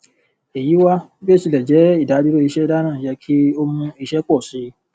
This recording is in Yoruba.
èyí wá bí ó tilẹ jẹ ìdádúró iṣẹ dana yẹ kí ó mú iṣẹ pọ sí i